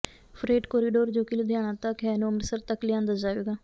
fret corridor ਜੋ ਕਿ ਲੁਧਿਆਣਾ ਤੱਕ ਹੈ ਨੂੰ ਅੰਮ੍ਰਿਤਸਰ ਤਕ ਲਿਆਂਦਾ ਜਾਵੇਗਾ